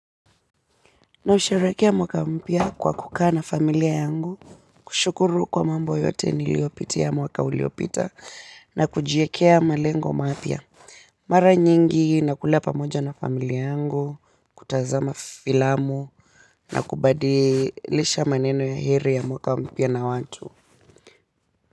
Nausherehekea mwaka mpya kwa kukaa na familia yangu, kushukuru kwa mambo yote niliopitia mwaka uliopita na kujiekea malengo mapya. Mara nyingi nakula pamoja na familia yangu, kutazama filamu na kubadilisha maneno ya heri ya mwaka mpya na watu.